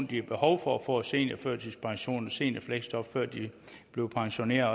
de har behov for at få seniorførtidspension og seniorfleksjob før de bliver pensioneret